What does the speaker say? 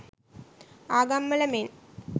ආගම් වල මෙන්